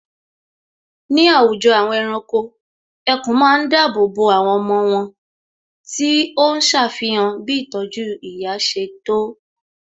Ní àwùjọ àwọn ẹranko, ẹkùn ma ń dáàbò bo àwọn ọmọ wón tí óhún ṣàfihàn bí ìtọ́jú ìyá ṣe tó